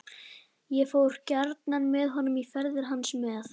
Ég fór gjarnan með honum í ferðir hans með